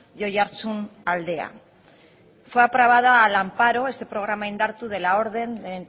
y oiartzunaldea este programa indartu fue aprobado al amparo de la orden del